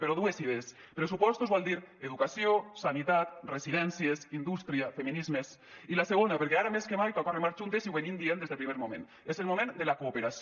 però dues idees pressupostos vol dir educació sanitat residències indústria feminismes i la segona perquè ara més que mai toca remar juntes i ho estem dient des del primer moment és el moment de la cooperació